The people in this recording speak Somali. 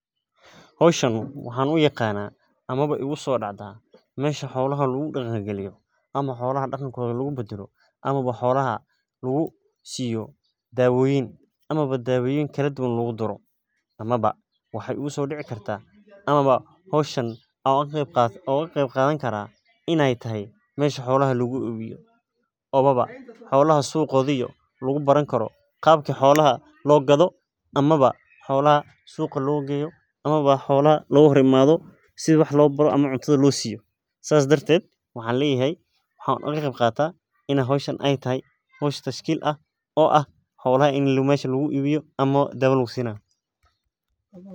Howshan waxaa uyaqaana ama igu soo dacdaa meesha xolaha daqankooda lagu badalo ana dawa lagu siiyo ana meesha xolaha lagu iibiyo ama loo gado ana lacag looga helo, sida wax loo baro ana cunta loo siiyo howl tashkiil ah oo ah in xoolaha la iibiyo ana dawa lasiinaya.